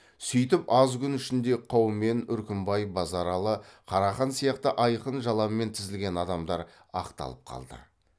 сүйтіп аз күн ішінде қаумен үркімбай базаралы қарақан сияқты айқын жаламен тізілген адамдар ақталып қалды